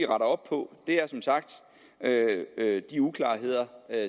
op på er som sagt de uklarheder